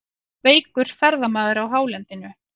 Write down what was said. Veikur ferðamaður á hálendinu